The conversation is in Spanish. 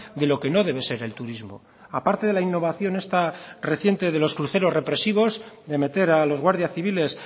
de lo que no debe ser el turismo aparte de la innovación esta reciente de los cruceros represivos de meter a los guardias civiles